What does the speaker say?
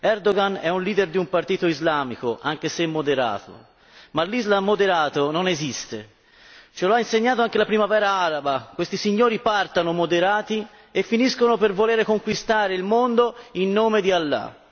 Erdogan è un leader di un partito islamico anche se moderato, ma l'Islam moderato non esiste ce lo ha insegnato anche la Primavera araba, questi signori partono moderati e finiscono per voler conquistare il mondo in nome di Allah.